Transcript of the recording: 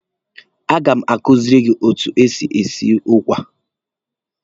A ga m akuziri ụmụ etu e si esi ụkwa.